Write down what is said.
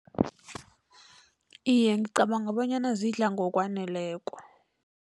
Iye, ngicabanga bonyana zidla ngokwaneleko.